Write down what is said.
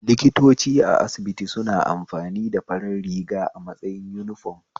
Likitoci a asibiti suna amfani da farar riga a matsayin uniform